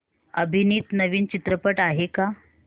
अभिनीत नवीन चित्रपट आहे का